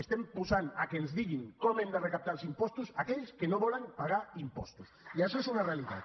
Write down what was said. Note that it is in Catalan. estem posant que ens diguin com hem de recaptar els impostos aquells que no volen pagar impostos i això és una realitat